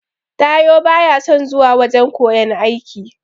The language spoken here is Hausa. Taiwo baya son zuwa wajan koyan aiki.